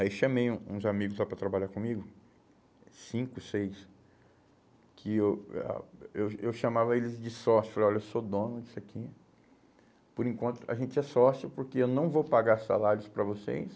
Aí chamei um uns amigos lá para trabalhar comigo, cinco, seis, que eu ah eu eu chamava eles de sócios, falei, olha, eu sou dono disso aqui, por enquanto a gente é sócio porque eu não vou pagar salários para vocês,